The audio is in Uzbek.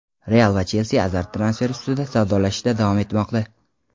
"Real" va "Chelsi" Azar transferi ustida savdolashishda davom etmoqda.